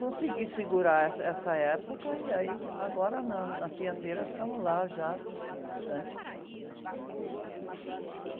Consegui segurar essa, essa época e aí, agora, na, na Fiandeiras, estamos lá já há bastante tempo, né?, e...